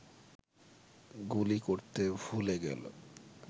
গুলি করতে ভুলে গেল